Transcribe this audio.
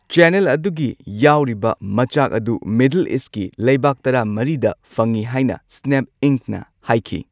Channel ꯑꯗꯨꯒꯤ ꯌꯥꯎꯔꯤꯕ ꯃꯆꯥꯛ ꯑꯗꯨ ꯃꯤꯗꯜ ꯏꯁꯠꯀꯤ ꯂꯩꯕꯥꯛ ꯇꯔꯥꯃꯔꯤꯗ ꯐꯪꯏ ꯍꯥꯏꯅ ꯁ꯭ꯅꯦꯞ ꯢꯪꯛꯅ ꯍꯥꯏꯈꯤ꯫